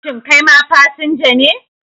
Shin kai ma fasinja ne?